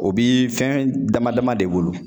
O bi fɛn damadama de bolo